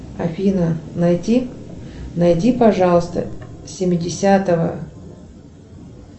афина найти найди пожалуйста семидесятого